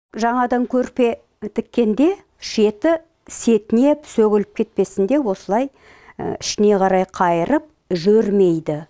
жаңадан көрпе тіккенде шеті сетінеп сөгіліп кетпесін деп осылай ішіне қарай қайырып жөрмейді